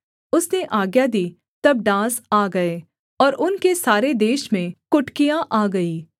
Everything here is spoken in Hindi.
उसने आज्ञा दी तब डांस आ गए और उनके सारे देश में कुटकियाँ आ गईं